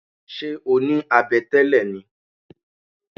Ṣé o ní abẹ tẹ́lẹ̀ ni?